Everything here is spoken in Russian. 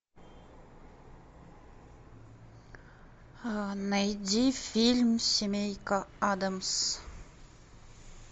найди фильм семейка аддамс